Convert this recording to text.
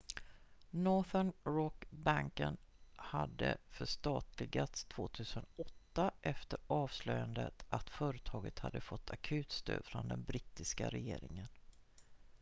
northern rock-banken hade förstatligats 2008 efter avslöjandet att företaget hade fått akutstöd från den brittiska regeringen